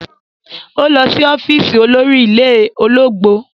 Ó lọ sí ọ́fíìsì olórí ilé ológbò.